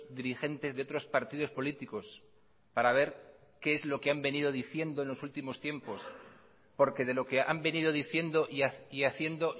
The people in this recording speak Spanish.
dirigentes de otros partidos políticos para ver qué es lo que han venido diciendo en los últimos tiempos porque de lo que han venido diciendo y haciendo